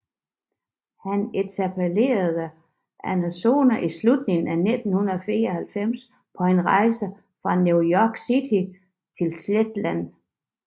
Han etablerede Amazon i slutningen af 1994 på en rejse fra New York City til Seattle